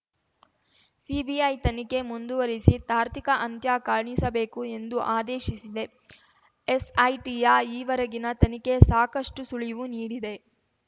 CBI ತನಿಖೆ ಮುಂದುವರಿಸಿ ತಾರ್ತಿಕ ಅಂತ್ಯ ಕಾಣಿಸಬೇಕು ಎಂದು ಆದೇಶಿಸಿದೆ ಎಸ್‌ಐಟಿಯ ಈವರೆಗಿನ ತನಿಖೆ ಸಾಕಷ್ಟುಸುಳಿವು ನೀಡಿದೆ